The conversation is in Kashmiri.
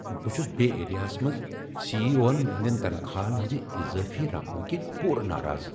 بہٕ چھس بے ایریاہس منٛز سی ای او ہن ہندِین تنخواہن ہندِ اضٲفی رقمہٕ كِنہِ پوٗر ناراض۔